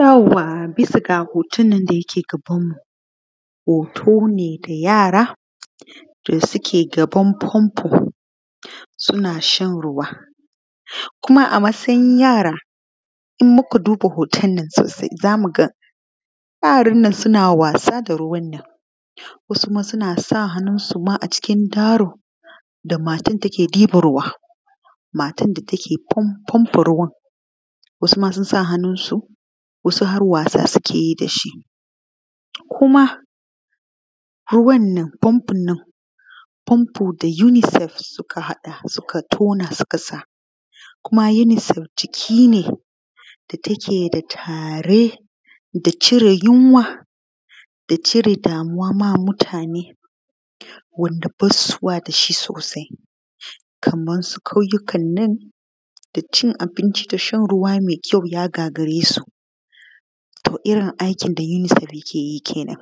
Yauwa bisa ga hotonnan da yake gabanmu hoto ne da yara suke gaban fanfo suna shan ruwa kuma a matsayin yara in muka duba hotonnan sosai za mu gani yarannan suna wasa da ruwannan wasu ma suna sa hannunsu a cikin daru da matan take ɗiban ruwa. Matan da take panpa ruwan wasu ma sun sa hannunsu wasu harwasa suke yi da su kuma fanfonnan da unicef suka haɗa suka tona sukasa kuma unicef jikine da take tare da cire yunwa da cire da damuwa wa mutane wanda basu dashi sosai kamansu ƙauyikannan da cin abinci da shan ruwa mai kyau ya gagaresu to irin aikin da unicef takeyi kenan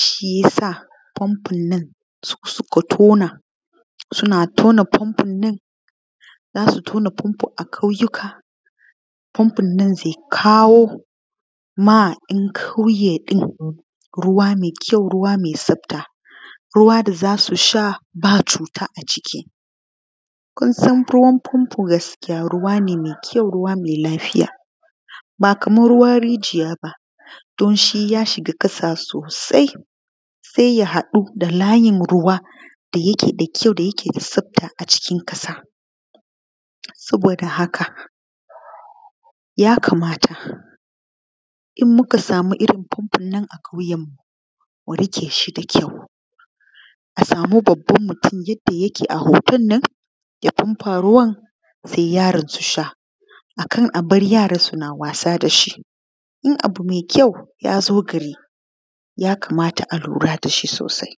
shi yasa fanfonnan su suka tuna suna tuna fanfonnan zasu tuna fanfonnan a kayuyoka fanfonnan zai kawo ma ‘yankauyeɗin ruwa mai tsafta ruwa dazasusha ba cuta a ciki kunsan ruwannan fanfo ruwane me kyau ruwane me lafiya ba kaman ruwan rijiya ba don shi ya shiga ƙasa sosai sai ya haɗu da layin ruwa da yake da kyau da tsafta cikin ƙasa saboda haka ya kamata in muka sama irin fanfon nan a ƙauyenmu mu riƙe shi da kyau musama babban mutun yanda yake a hoton nan ya fanfa ruwan sai yaran su sha a kana bar yaran suna wasa da shi na bu mai kyau ya zo gari ya kamata a lura da shi sosai.